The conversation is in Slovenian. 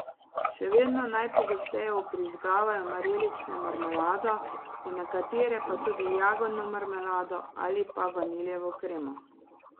Še vedno najpogosteje vbrizgavajo marelično marmelado, v nekatere pa tudi jagodno marmelado ali pa vanilijevo kremo.